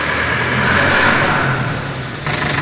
мараба